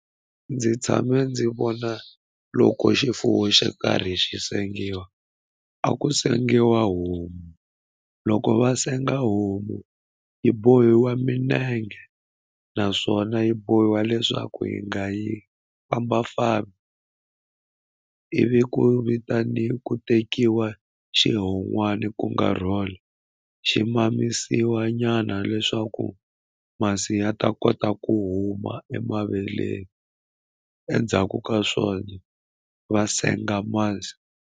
Ndzi tshame ndzi vona loko xifuwo xo karhi xi sengiwa a ku sengiwa homu loko va senga homu yi bohiwa minenge naswona yi bohiwa leswaku hi nga yi fambafambi ivi ku vitani ku tekiwa xihon'wani ku nga role xi mamisiwi nyana leswaku masi ya ta kota ku huma emaveleni endzhaku ka swona va senga masi.